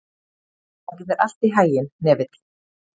Gangi þér allt í haginn, Hnefill.